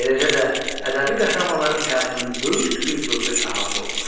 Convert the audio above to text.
Eləcə də ədəbi qəhrəmanların həyatının böyük bir dövrü əhatə olunur.